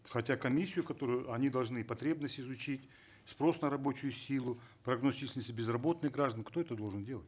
хотя комиссию которую они должны потребность изучить спрос на рабочую силу прогноз если есть безработные граждане кто это должен делать